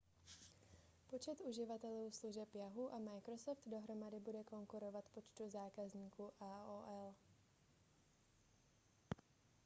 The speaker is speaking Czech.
počet uživatelů služeb yahoo a microsoft dohromady bude konkurovat počtu zákazníků aol